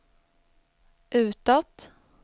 utåt